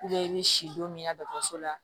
i bɛ si don min na dɔgɔtɔrɔso la